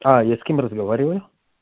а я с кем разговариваю